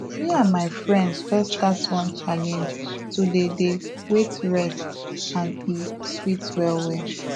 me and my friends just start one challenge to dey dey wait rest and e sweet well well